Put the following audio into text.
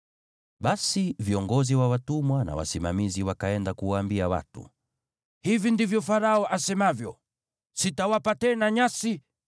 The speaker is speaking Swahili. Basi viongozi wa watumwa na wasimamizi wakaenda kuwaambia watu, “Hivi ndivyo Farao asemavyo: ‘Sitawapa tena nyasi.